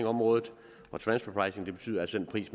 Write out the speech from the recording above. området og transfer pricing betyder altså en pris